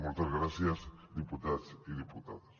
moltes gràcies diputats i diputades